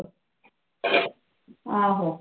ਆਹੋ।